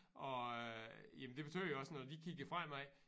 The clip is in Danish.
Og øh jamen det betyder jo også når vi kigger fremad